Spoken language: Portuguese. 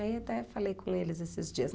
E aí até falei com eles esses dias.